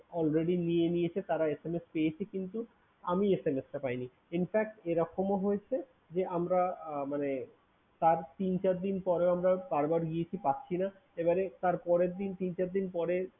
already নিয়ে নিয়েছে। তারা SMS পেয়েছে কিন্তু আমি SMS টা পাইনি। Infact এরকমও হয়েছে যে, আমরা আহ মানে তার তিন চার দিন পরেও আমরা বার বার গিয়েছি পাচ্ছিনা। এবারে তারপরের দিন তিন চার দিন পরে